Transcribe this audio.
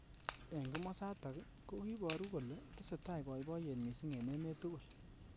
Eng kimosotak kokiboru kole tesetai boiboyet missing eng emet tugul.